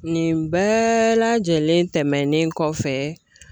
Nin bɛɛ lajɛlen tɛmɛnen kɔfɛ